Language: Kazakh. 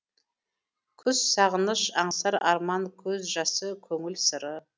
күз сағыныш аңсар арман көз жазы көңіл сыры